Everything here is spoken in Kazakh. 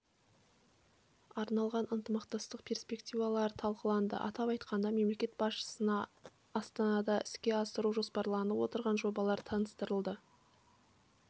арналған ынтымақтастық перспективалары талқыланды атап айтқанда мемлекет басшысына астанада іске асыру жоспарланып отырған жобалар таныстырылды